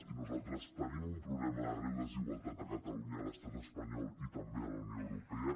i nosaltres tenim un problema de greu desigualtat a catalunya a l’estat espanyol i també a la unió europea